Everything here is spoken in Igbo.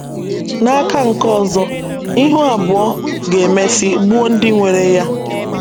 N’aka nke ọzọ, ihu abụọ ga - emesị gbuo ndị nwere ya.